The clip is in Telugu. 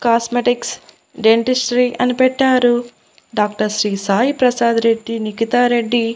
కాస్మెటిక్స్ డెంటిస్ట్రీ అని పెట్టారు డాక్టర్ శ్రీ సాయి ప్రసాద్ రెడ్డి నిఖితారెడ్డి--